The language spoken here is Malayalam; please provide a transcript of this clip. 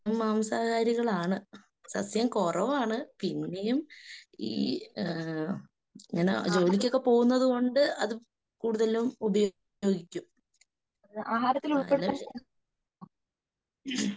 മാംസാഹാരികളാണ്. സസ്യം കുറവാണ്. പിന്നെയും ഈ ആ ഞാനാ ജോലിക്കൊക്കെ പോകുന്നത് കൊണ്ട് അത് കൂടുതലും ഉപയോഗിക്കും.